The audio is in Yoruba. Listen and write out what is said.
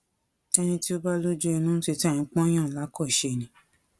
ẹni tí ó bá lójú inú títa ẹ ń pọn yàn lákọṣe ni